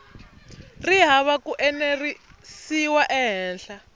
ri hava ku enerisiwa ehenhla